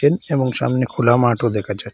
এবং সামনে খোলা মাঠও দেখা যায়।